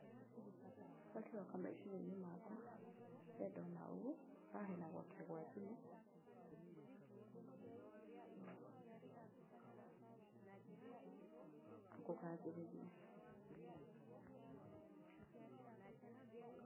long pause